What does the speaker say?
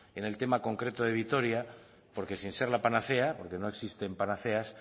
en el tema concreto de vitoria porque sin ser la panacea porque no existen panaceas